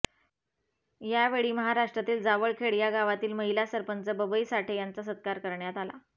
यावेळी महाष्ट्रातील जावळखेड या गावातील महिला सरपंच बबई साठे यांचा सत्कार करण्यात आला